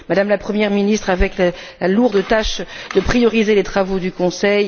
Madame la Première ministre, avec la lourde tâche de prioriser les travaux du Conseil...